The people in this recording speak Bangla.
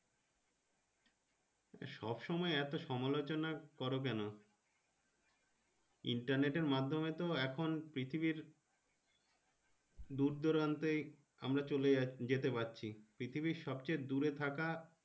সবসময় এত সমালোচনা করো কেন Internet এর মাধ্যমে তো এখন পৃথিবীর দূরদূরান্তে আমরা চলে যাচ্ছি যেতে পারছি পৃথিবীর সবথেকে দূরে থাকা।